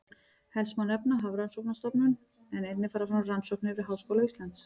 Helst má nefna Hafrannsóknastofnun en einnig fara fram rannsóknir við Háskóla Íslands.